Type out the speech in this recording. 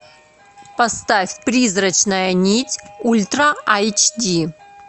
поставь призрачная нить ультра эйч ди